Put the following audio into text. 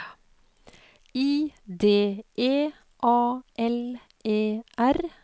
I D E A L E R